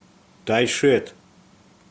тайшет